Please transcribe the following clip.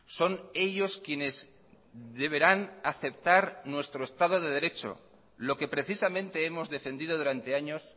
son ellos quienes deberán aceptar nuestro estado de derecho lo que precisamente hemos defendido durante años